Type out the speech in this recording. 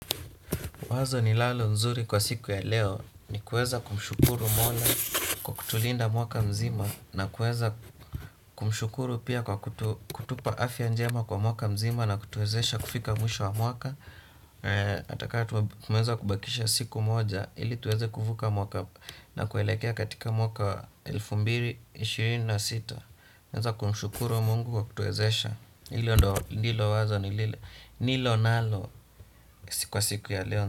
Wazo ni lalo nzuri kwa siku ya leo ni kueza kumshukuru mola kwa kutulinda mwaka mzima na kueza kumshukuru pia kwa kutupa afya njema kwa mwaka mzima na kutuezesha kufika mwisho wa mwaka. Ata kaa tumeza kubakisha siku moja ili tuweze kuvuka mwaka na kuelekea katika mwaka wa elfu mbili na ishirini na sita. Weza kumshukuru mungu kwa kutuezesha ili ndo nilo wazo ni nilo nalo kwa siku ya leo.